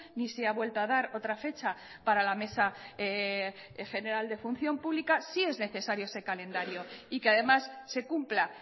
ni se ha vuelto a dar otra fecha para la mesa general de función pública sí es necesario ese calendario y que además se cumpla